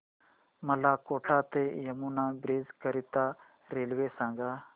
मला कोटा ते यमुना ब्रिज करीता रेल्वे सांगा